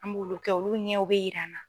An m'olu kɛ olu ɲɛw bɛ yir'an na.